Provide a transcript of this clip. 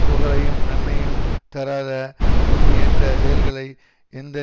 புகழையும் நன்மையையும் தராத தூய்மையற்ற செயல்களை எந்த